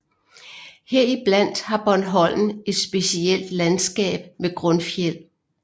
Heriblandt har Bornholm et specielt landskab med grundfjeld